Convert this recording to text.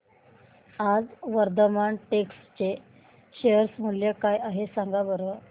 आज वर्धमान टेक्स्ट चे शेअर मूल्य काय आहे सांगा बरं